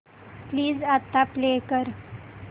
please आता play कर